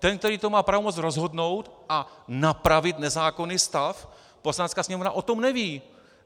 Ten, který to má pravomoc rozhodnout a napravit nezákonný stav, Poslanecká sněmovna, o tom neví!